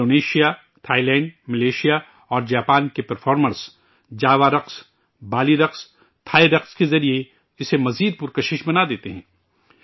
Indonesia, Thailand, Malaysia اور Japan کے performers Java رقص، بالی رقص ، تھائی رقص کے ذریعہ اسے اور پرکشش بناتے ہیں